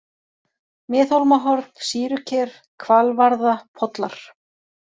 Miðhólmahorn, Sýruker, Hvalvarða, Pollar